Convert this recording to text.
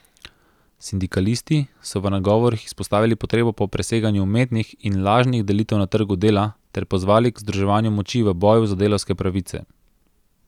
Sindikalisti so v nagovorih izpostavili potrebo po preseganju umetnih in lažnih delitev na trgu dela ter pozvali k združevanju moči v boju za delavske pravice.